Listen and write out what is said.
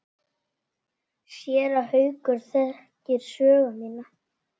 Séra Haukur þekkir sögu mína.